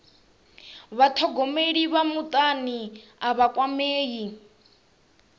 vhathogomeli vha mutani a vha kwamei